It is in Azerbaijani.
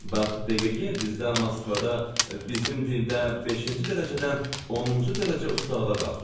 Bax deyirəm bizdə Moskvada bizim dildə beşinci dərəcədən 10-cu dərəcə ustalığa qalxdı.